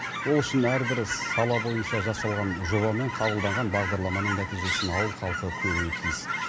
ол үшін әрбір сала бойынша жасалған жоба мен қабылданған бағдарламаның нәтижесін ауыл халқы көруі тиіс